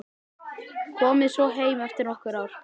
Komið svo heim eftir nokkur ár.